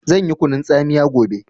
Zan yi kunun tsamiya gobe